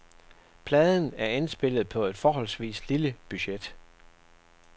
Pladen er indspillet på et forholdsvis lille budget.